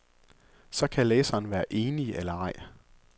Så kan læseren være enig eller ej.